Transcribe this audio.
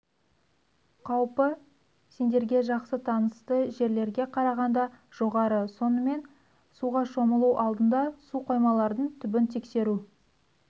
қауіпі сендерге жақсы танысты жерлерге қарағанда жоғары сонымен суға шомылу алдында су қоймалардың түбін тексеру